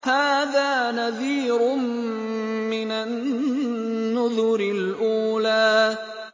هَٰذَا نَذِيرٌ مِّنَ النُّذُرِ الْأُولَىٰ